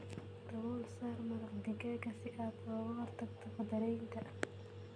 Dabool saar maraq digaaga si aad uga hortagto faddaraynta.